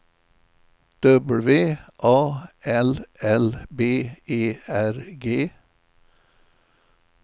W A L L B E R G